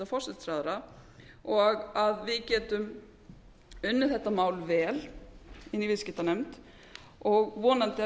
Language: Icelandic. forsætisráðherra og að við getum unnið þetta mál vel inni í viðskiptanefnd og vonandi að við